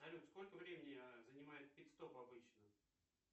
салют сколько времени занимает пит стоп обычно